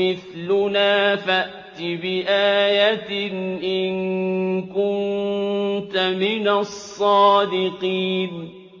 مِّثْلُنَا فَأْتِ بِآيَةٍ إِن كُنتَ مِنَ الصَّادِقِينَ